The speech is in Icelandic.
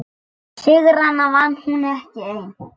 Sigrana vann hún ekki ein.